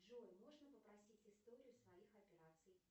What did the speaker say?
джой можно попросить историю своих операций